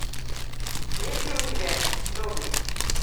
есть ли у тебя доблесть